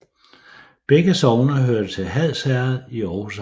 Begge sogne hørte til Hads Herred i Aarhus Amt